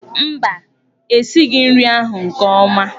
Mba, e sighị nri ahụ nke ọma.